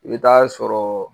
I be t'a sɔrɔ